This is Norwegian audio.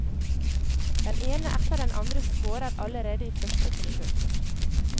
Den ene etter den andre scorer allerede i første forsøk.